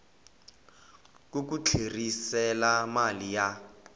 ku ku tlherisela mali ya